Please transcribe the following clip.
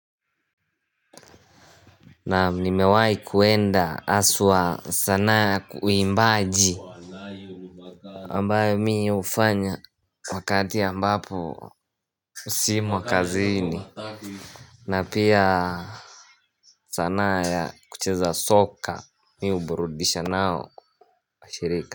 Naam nimewai kuenda aswa sanaa uimbaji ambayo mi ufanya Wakati ambapo simo kazini na pia sanaa ya kucheza soka Mi uburudisha nao kwa shirika.